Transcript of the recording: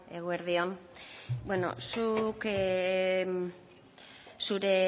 eguerdi on zure